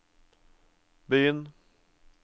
begynn